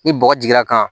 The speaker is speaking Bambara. Ni bɔgɔ jiginra kan